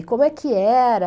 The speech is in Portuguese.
E como é que era?